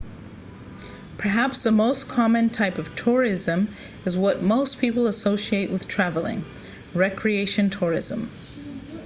perhaps the most common type of tourism is what most people associate with traveling recreation tourism